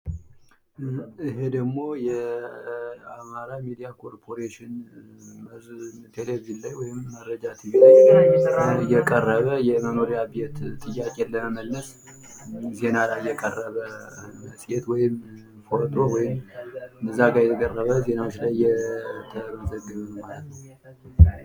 ይሄ ደግሞ የአማራ ሚዲያ ኮርፖሬሽን ቴሌቪዥን ላይ ወይም መረጃ ቲቪ ላይ የቀረበ የመኖሪያ ቤት ጥያቄን ለመመለስ ዜና ላይ የቀረበ መፅሔት ወይም ፎቶ ወይም እዚያ ጋር የቀረበ ዜና ነዉ።